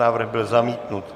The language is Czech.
Návrh byl zamítnut.